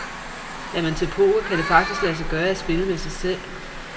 Er man til poker, kan det faktisk lade sig gøre, at spille med sig selv.